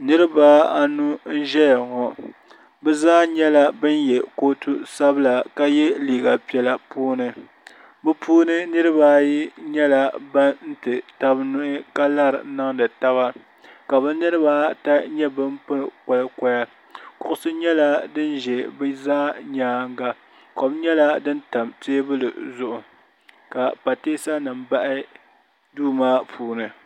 niriba anu n-zaya ŋɔ bɛ zaa nyɛla ban ye kootu sabila ye liiga piɛla puuni bɛ puuni niriba ayi nyɛla ban ti taba nuhi ka lari n-niŋdi taba ka bɛ niriba ata nyɛ ban pili kɔlikɔya kuɣisi nyɛla din za bɛ zaa nyaaŋa kom nyɛla din pam teebuli zuɣu ka pateesanima bahi duu maa puuni